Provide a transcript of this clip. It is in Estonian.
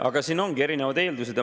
Aga siin ongi erinevad eeldused.